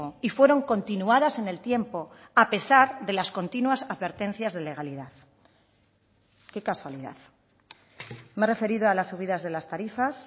y fueron continuadas en el tiempo a pesar de las continuas advertencias de legalidad qué casualidad me he referido a las subidas de las tarifas